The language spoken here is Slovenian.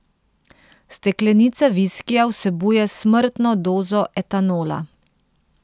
Steklenica viskija vsebuje smrtno dozo etanola.